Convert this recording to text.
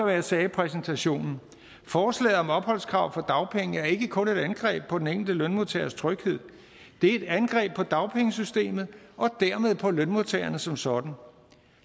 jeg sagde i præsentationen forslaget om et opholdskrav for dagpenge er ikke kun et angreb på den enkelte lønmodtagers tryghed det er et angreb på dagpengesystemet og dermed på lønmodtagerne som sådan